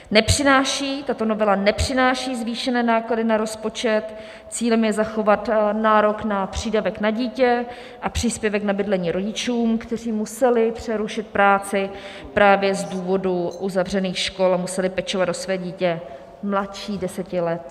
Tato novela nepřináší zvýšené náklady na rozpočet, cílem je zachovat nárok na přídavek na dítě a příspěvek na bydlení rodičům, kteří museli přerušit práci právě z důvodu uzavřených škol a museli pečovat o své dítě mladší deseti let.